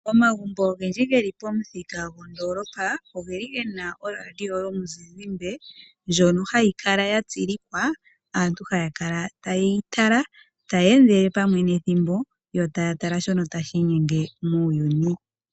Momagumbo ogendji geli pomuthika gwo ndoolopa, ogeli Gena radio yomuzizimbe, ndjono ha yi kala ya tsilikwa, yo aantu ha kala ta yeyi tala yo ta ya endele pamwe nethimbo, yo ta ya tala shono ta shi intense muuyuni.